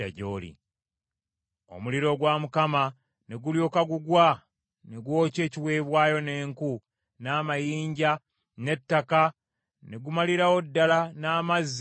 Omuliro gwa Mukama ne gulyoka gugwa ne gwokya ekiweebwayo, n’enku, n’amayinja, n’ettaka, ne gumalirawo ddala n’amazzi mu lusalosalo.